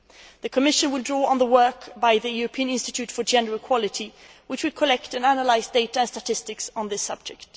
The Commission will draw on the work by the European Institute for Gender Equality, which will collect and analyse data and statistics on this subject.